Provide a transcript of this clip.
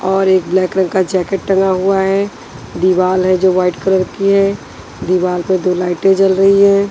और एक ब्लैक रंग का जैकेट टंगा हुआ है दीवार है जो वाइट कलर की है दीवार पर दो लाइटें जल रही है।